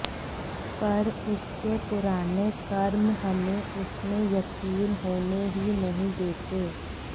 पर उसके पुराने कर्म हमे उसमे यकीन होने ही नही देते